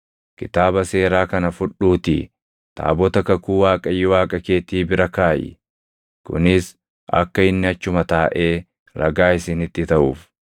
“Kitaaba Seeraa kana fudhuutii taabota kakuu Waaqayyo Waaqa keetii bira kaaʼi. Kunis akka inni achuma taaʼee ragaa isinitti taʼuuf.